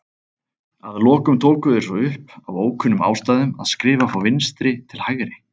Að lokum tóku þeir svo upp, af ókunnum ástæðum, að skrifa frá vinstri til hægri.